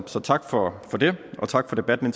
så tak for det og tak for debatten